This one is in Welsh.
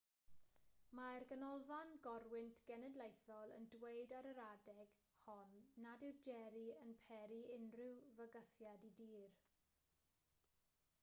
mae'r ganolfan gorwynt genedlaethol yn dweud ar yr adeg hon nad yw jerry yn peri unrhyw fygythiad i dir